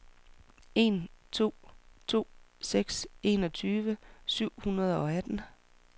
en to to seks enogtyve syv hundrede og atten